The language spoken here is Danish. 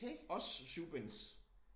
Også syvbinds